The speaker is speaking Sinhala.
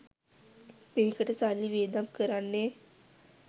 මේකට සල්ලි වියදම් කරන්නේ